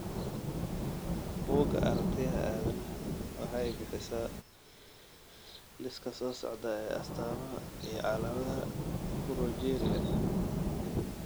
Bugga Aragtiyaha Aadanaha waxay bixisaa liiska soo socda ee astaamaha iyo calaamadaha Progeria.